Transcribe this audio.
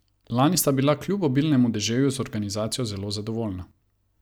Lani sta bila kljub obilnemu deževju z organizacijo zelo zadovoljna.